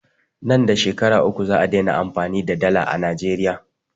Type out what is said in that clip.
Nan da Shekara uku za'a dena amfani da dala a Najeriya.